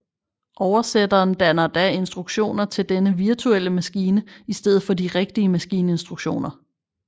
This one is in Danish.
Oversætteren danner da instruktioner til denne virtuelle maskine i stedet for de rigtige maskininstruktioner